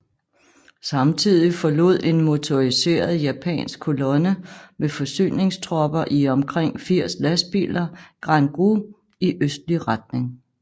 Samtidig forlod en motoriseret japansk kolonne med forsyningstropper i omkring 80 lastbiler Guan Gou i østlig retning